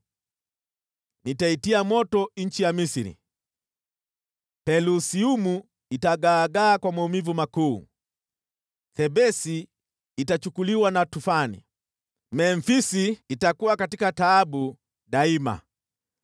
Nitaitia moto nchi ya Misri; Pelusiumu itagaagaa kwa maumivu makuu. Thebesi itachukuliwa na tufani, Memfisi itakuwa katika taabu daima.